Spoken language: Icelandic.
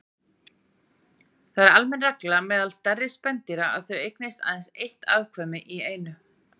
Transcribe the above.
Það er almenn regla meðal stærri spendýra að þau eignist aðeins eitt afkvæmi í einu.